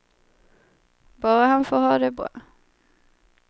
Bara han får ha det bra.